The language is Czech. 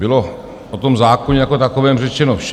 Bylo o tom zákoně jako takovém řečeno vše.